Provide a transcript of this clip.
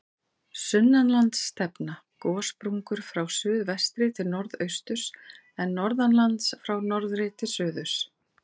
Sunnanlands stefna gossprungur frá suðvestri til norðausturs, en norðanlands frá norðri til suðurs.